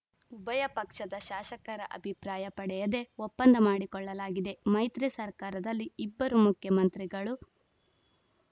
ಉಭಯ ಪಕ್ಷದ ಶಾಸಕರ ಅಭಿಪ್ರಾಯ ಪಡೆಯದೇ ಒಪ್ಪಂದ ಮಾಡಿಕೊಳ್ಳಲಾಗಿದೆ ಮೈತ್ರಿ ಸರ್ಕಾರದಲ್ಲಿ ಇಬ್ಬರು ಮುಖ್ಯಮಂತ್ರಿಗಳು